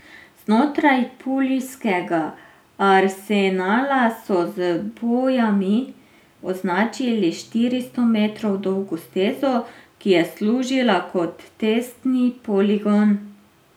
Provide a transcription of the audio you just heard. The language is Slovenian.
Znotraj puljskega Arsenala so z bojami označili štiristo metrov dolgo stezo, ki je služila kot testni poligon.